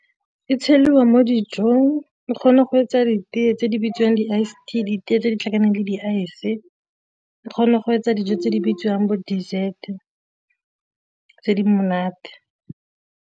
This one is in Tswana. E tsheliwa mo dijong, e kgona go etsa ditee tse di bitswang di-icetea ditee tse di tlhakaneng le di-ice, e kgona go etsa dijo tse di bitsiwang bo dessert tse di monate.